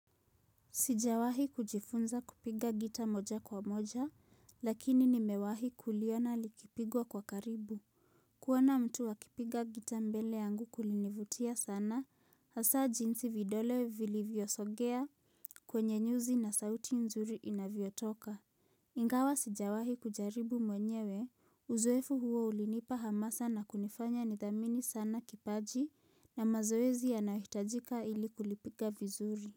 Sijawahi kujifunza kupiga gita moja kwa moja, lakini nimewahi kuliona likipigwa kwa karibu. Kuoana mtu akipiga gita mbele yangu kulinivutia sana, hasa jinsi vidole vili vyosogea kwenye nyuzi na sauti nzuri inaviyotoka. Ingawa sijawahi kujaribu mwenyewe, uzuefu huo ulinipa hamasa na kunifanya nithamini sana kipaji na mazoezi anahitajika ili kulipiga vizuri.